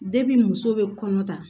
muso bɛ kɔnɔ ta